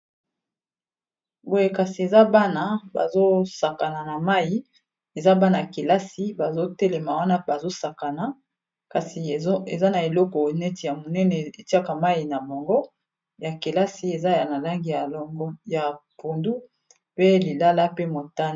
boye kasi eza bana bazosakana na mai eza bana kelasi bazotelema wana bazosakana kasi eza na eloko neti ya monene etiaka mai na bango ya kelasi eza na langi ya mai ya pundu pe lilala pe motane.